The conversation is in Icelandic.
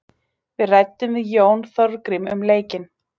Við ræddum við Jón Þorgrím um leikinn.